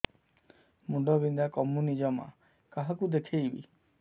ମୁଣ୍ଡ ବିନ୍ଧା କମୁନି ଜମା କାହାକୁ ଦେଖେଇବି